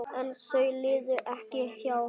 En þau liðu ekki hjá.